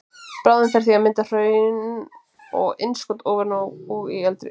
Bráðin fer því í að mynda hraun og innskot ofan á og í eldri skorpu.